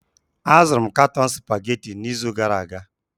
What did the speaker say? Azụrụ m katọn Supagetii n'izu gara aga